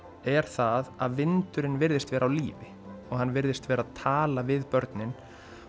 er það að vindurinn virðist vera á lífi og hann virðist vera tala við börnin